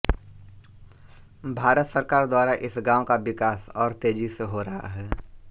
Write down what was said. भारत सरकार द्वारा इस गांव का विकास और तेजी से हो रहा है